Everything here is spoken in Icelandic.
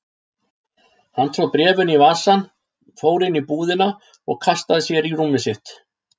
Hann tróð bréfinu í vasann, fór inn í íbúðina og kastaði sér í rúmið sitt.